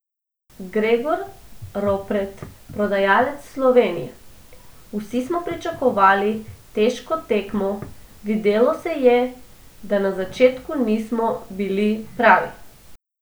Gregor Ropret, podajalec Slovenije: "Vsi smo pričakovali težko tekmo, videlo se je, da na začetku nismo bili pravi.